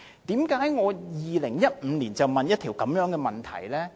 為何我在2015年提出這項質詢？